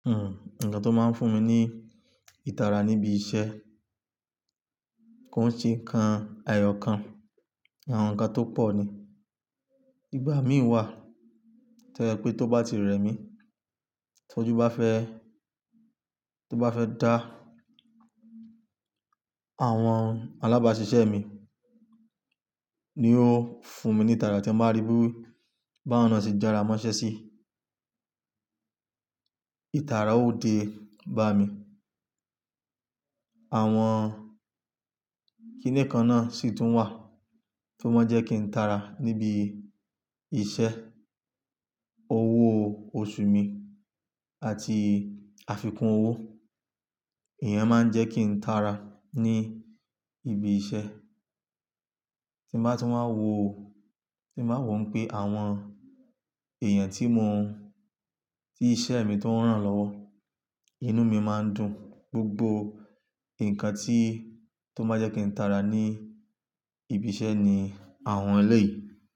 Ǹkan tó máa ń fún mi ní ìtara níbi iṣẹ́ kò ń ṣe kan ààyò kan. Àwọn ǹkan tó pọ̀ ni. Igbà mí wà toju ye pé tó bá ti rẹ̀ mí, tọ́jú bá fẹ́, tó bá fẹ́ dá àwọn alábàáṣiṣẹ́ mi, ni ó fún mi ní ìtara tí mo bá ríi bí báwo ni wọ́n ṣe jára mọ́ iṣẹ́ sí. Ìtara ó dé bá mi. Àwọn kiní kan náà sì tún wà tí wọ́n jẹ́ kí n tara níbi iṣẹ́, owó oṣù mi àti àfikún owó. Ìyẹn máa ń jẹ́ kí n tara ní ibi iṣẹ́. Tí mo bá ti wáa wo, tí mo báa wo pé àwọn èèyàn tí mo, tí iṣẹ́ mi tó ń ràn lọ́wọ́, inú mi máa ń dùn. Gbogbo nǹkan tí, tó máa jẹ́ kí n tara ní ibi iṣẹ́ ni àwọn ẹlẹ́ yìí.